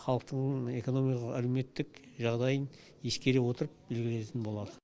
халықтың экономикалық әлеуметтік жағдайын ескере отырып белгіленетін болады